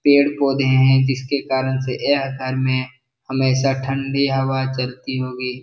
पेड़-पौधे हैं जिसके कारण से यह घर में हमेशा ठंडी हवा चलती होगी।